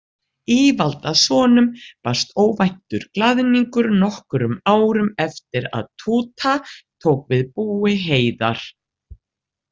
Ívaldasonum barst óvæntur glaðningur nokkrum árum eftir að Túta tók við búi Heiðar.